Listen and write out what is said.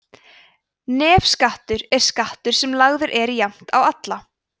nefskattur er skattur sem lagður er jafnt á alla